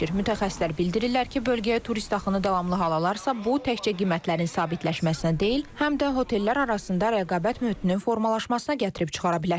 Mütəxəssislər bildirirlər ki, bölgəyə turist axını davamlı hal alarsa, bu təkcə qiymətlərin sabitləşməsindən deyil, həm də hotellər arasında rəqabət mühitinin formalaşmasına gətirib çıxara bilər.